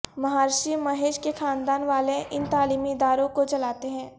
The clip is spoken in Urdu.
مہارشی مہیش کے خاندان والے ان تعلیمی اداروں کو چلاتے ہیں